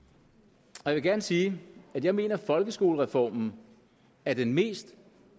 og jeg vil gerne sige at jeg mener at folkeskolereformen er den mest